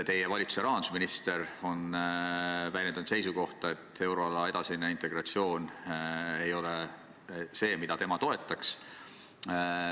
Teie valitsuse rahandusminister on väljendanud seisukohta, et euroala edasine integratsioon ei ole see, mida tema toetaks.